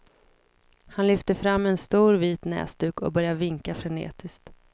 Han lyfter fram en stor vit näsduk och börjar vinka frenetiskt.